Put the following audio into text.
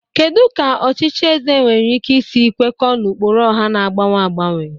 Kedu ka ọchịchị eze nwere ike isi kwekọọ n'ụkpụrụ ọha na-agbanwe agbanwe?